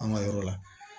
An ka yɔrɔ la